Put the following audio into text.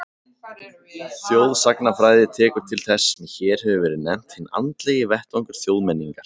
Þjóðsagnafræði tekur til þess sem hér hefur verið nefnt hinn andlegi vettvangur þjóðmenningar.